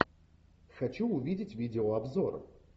хочу увидеть видеообзор